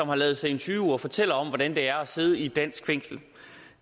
har ladet sig interviewe og fortæller om hvordan det er at sidde i et dansk fængsel